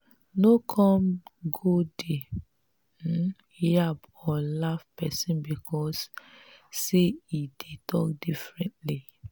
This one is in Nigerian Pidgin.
no come go dey um yab or laugh pesin becos say e dey talk differently.